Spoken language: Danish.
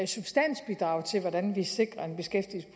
substansbidrag til hvordan vi sikrer